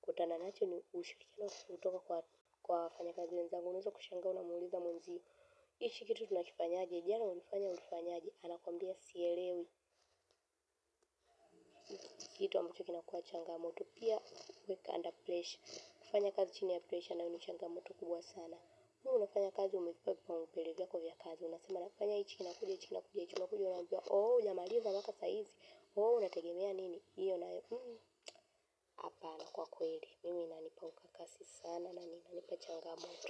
tunachokutana nacho ni ushuri, kena ushutoka kwa fanya kazi ni zangunizo kushangaa, unamuuliza mwuzi. Hichi kitu tunakifanya aje, jana ulifanya ulifanya aje, anakwambia sielewi. Kitu ambacho kinakuwa changamoto. Pia wake under pressure. Kufanya kazi chini ya pressure nayo ni changamoto kubwa sana. Nuhu unafanya kazi umifabia mpere vya kovya kazi. Unasema nafanya hichi na kuja hichi na kuja hichina kuja hichina kuja hichina kuja. Unabia oh ya maliza waka saizi. Oh unategemea nini. Iyo na hapana kwa kweli. Mimina nipa mkakasi sana na nina nipa changamoto.